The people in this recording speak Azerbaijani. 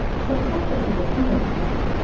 Şəxsiyyət vəsiqəsi nə üçündür?